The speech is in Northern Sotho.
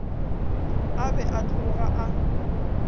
a be a tloga a